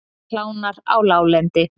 Hlánar á láglendi